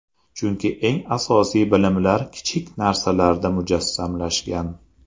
Chunki eng asosiy bilimlar kichik narsalarda mujassamlashgan.